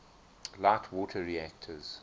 light water reactors